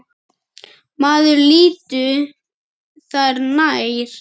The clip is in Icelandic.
Maður líttu þér nær!